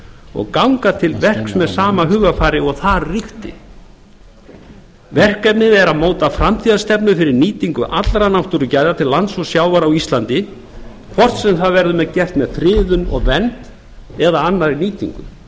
og ganga til verks með sama hugarfari og þar ríkti verkefnið er að móta framtíðarstefnu fyrir nýtingu allra náttúrugæða til lands og sjávar á íslandi hvort sem það verður gert með friðun og vernd eða annarri nýtingu